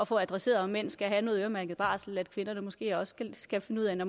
få adresseret om mænd skal have noget øremærket barsel at kvinderne måske også skal finde ud af